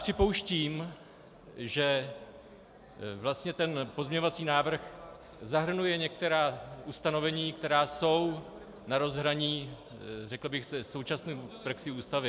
Připouštím, že vlastně ten pozměňovací návrh zahrnuje některá ustanovení, která jsou na rozhraní řekl bych se současnou praxí Ústavy.